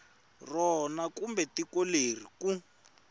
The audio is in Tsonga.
rona kumbe tiko leri ku